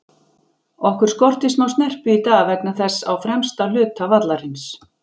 Okkur skorti smá snerpu í dag vegna þess á fremsta hluta vallarins.